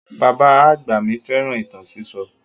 Bàbá àgbà mi fẹ́ràn ìtàn sísọ.